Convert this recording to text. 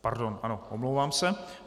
Pardon, ano, omlouvám se.